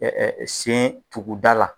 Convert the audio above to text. sen tuguda la.